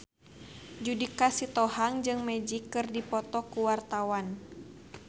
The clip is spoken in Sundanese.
Judika Sitohang jeung Magic keur dipoto ku wartawan